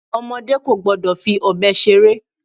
Ọmọdé kò gbọ́dọ̀ fi ọbẹ̀ ṣeré.